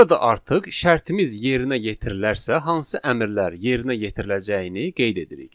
Burada artıq şərtimiz yerinə yetirilərsə hansı əmrlər yerinə yetiriləcəyini qeyd edirik.